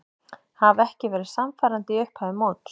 Hafa ekki verið sannfærandi í upphafi móts.